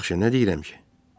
Yaxşı, nə deyirəm ki?